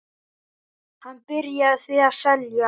Hann byrjaði því að selja.